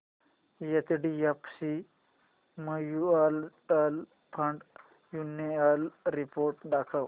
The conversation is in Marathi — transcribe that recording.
HDFC mutual fund annual report दाखव